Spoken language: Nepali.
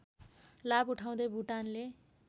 लाभ उठाउदै भुटानले